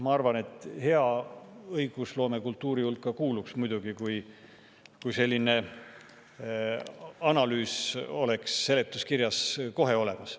Ma arvan, et hea õigusloomekultuuri hulka kuulub see muidugi, et selline analüüs oleks seletuskirjas kohe olemas.